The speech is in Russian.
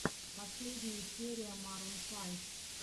последняя серия марун файв